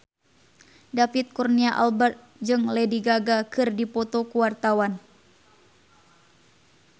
David Kurnia Albert jeung Lady Gaga keur dipoto ku wartawan